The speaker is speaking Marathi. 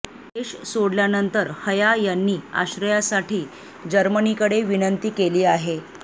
देश सोडल्यानंतर हया यांनी आश्रयासाठी जर्मनीकडे विनंती केली आहे